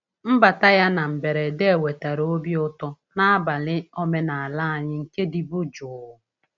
Mbata ya na mberede wetara obi ụtọ n’abalị omenala anyị nke dịbu jụụ.